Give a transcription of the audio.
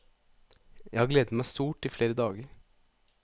Jeg har gledet meg stort i flere dager.